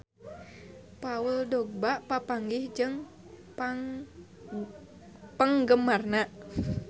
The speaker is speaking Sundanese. Paul Dogba papanggih jeung penggemarna